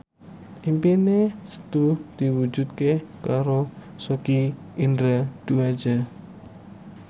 impine Setu diwujudke karo Sogi Indra Duaja